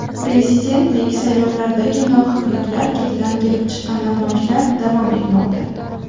Prezidentlik saylovlaridagi nohaqliklar ketidan kelib chiqqan namoyishlar davom etmoqda.